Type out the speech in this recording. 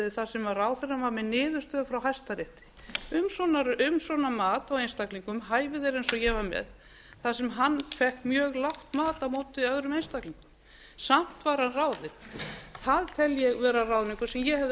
þar sem ráðherrann var með niðurstöðu frá hæstarétti um svona mat á einstaklingum hæfi þeirra eins og ég var með þar sem hann fékk mjög lágt mat á móti öðrum einstaklingum samt var hann ráðinn það tel ég vera ráðningu sem ég